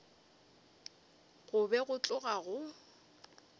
go be go tloga go